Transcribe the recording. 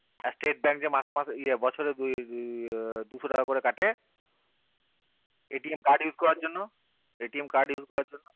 stete bank কে মাসে মাসে বছরে দুশো টাকা করে কাটে card use করার জন্য card use করার জন্য